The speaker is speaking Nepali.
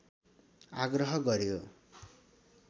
आग्रह गर्‍यो